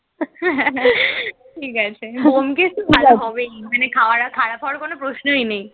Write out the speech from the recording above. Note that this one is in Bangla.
ঠিক আছে ব্যোমকেশ তো ভালো হবেই, মানে খারাপ হওয়ার কোন প্রশ্নই নেই,